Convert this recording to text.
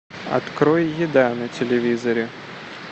открой еда на телевизоре